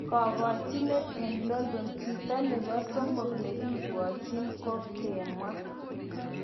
Kagokchinet eng London: chito nepo somok negibwotchin ko kagemwa.